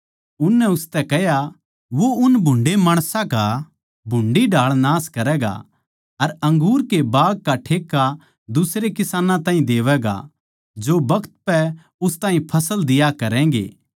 उननै उसतै कह्या वो उन भुन्डे़ माणसां का भुंडी ढाळ नाश करैगा अर अंगूर के बाग का ठेका दुसरे किसानां ताहीं देवैगा जो बखत पै उस ताहीं फळ दिया करैगें